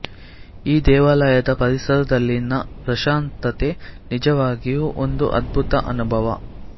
ಈ ದೇವಾಲಯದ ಪರಿಸರದಲ್ಲಿನ ಪ್ರಶಾಂತತೆ ನಿಜವಾಗಿಯೂ ಒಂದು ಅದ್ಭುತ ಅನುಭವ